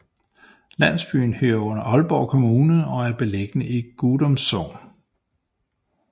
Landsbyen hører under Aalborg Kommune og er beliggende i Gudum Sogn